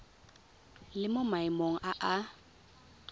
le mo maemong a a